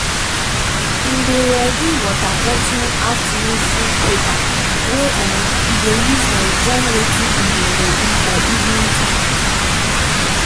him dey ready water bottle afternoon food paper wey um e go use um join wetin him dey ready for evening time